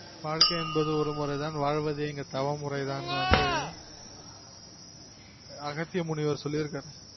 வாழ்க்கை என்பது ஒரு முறை தான் வாழ்வது இங்கு தவ முறை தான் வந்து அகத்திய முனிவர் சொல்லிற்காரு